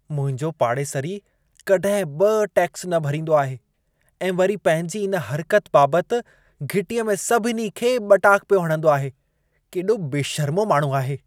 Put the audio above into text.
मुंहिंजो पाड़ेसिरी कॾहिं बि टैक्सु न भरींदो आहे ऐं वरी पंहिंजी इन हर्क़त बाबति घिटीअ में सभिनी खे ॿटाक पियो हणंदो आहे। केॾो बशर्मो माण्हू आहे।